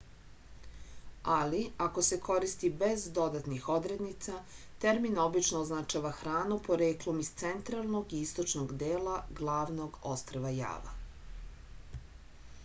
ali ako se koristi bez dodatnih odrednica termin obično označava hranu poreklom iz centralnog i istočnog dela glavnog ostrva java